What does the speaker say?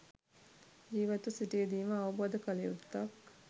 ජිවත්ව සිටියදීම අවබෝධ කල යුත්තක්.